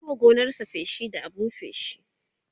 ya Yi wa gonarsa feshi da abun feshi